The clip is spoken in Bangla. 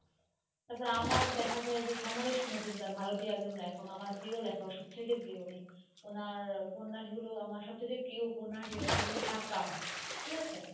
তারপরে আমার দেখা যায় যে সমরেশ মজুমদার ভারতীয় একজন লেখক, আমার প্রিয় লেখক সব চাইতে প্রিয় উনি ওনার উপন্যাসগুলো আমার সব চাইতে প্রিয় উপন্যাস যেটা হল সাতকাহন, ঠিক আছে.